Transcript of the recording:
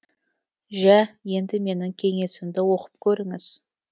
жә енді менің кеңесімді оқып көріңіз